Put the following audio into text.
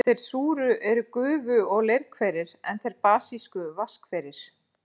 Þeir súru eru gufu- og leirhverir, en þeir basísku vatnshverir.